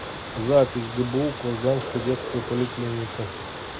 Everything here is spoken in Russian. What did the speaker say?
запись гбу курганская детская поликлиника